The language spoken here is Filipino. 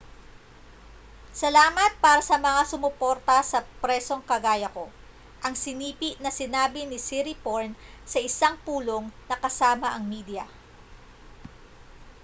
salamat para sa mga sumuporta sa presong kagaya ko ang sinipi na sinabi ni siriporn sa isang pulong na kasama ang media